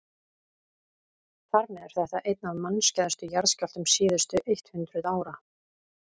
þar með er þetta einn af mannskæðustu jarðskjálftum síðustu eitt hundruð ára